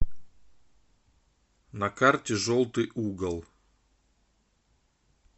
на карте желтый угол